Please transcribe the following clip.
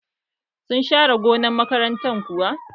Sun share gonar makaranta kuwa?